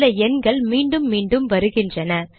சில எண்கள் மீண்டும் மீண்டும் வருகின்றன